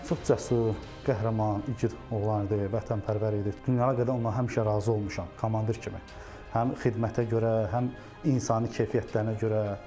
Çox cəsur, qəhrəman, igid oğlan idi, vətənpərvər idi, dünyaya qədər ondan həmişə razı olmuşam, komandir kimi həm xidmətə görə, həm insani keyfiyyətlərinə görə.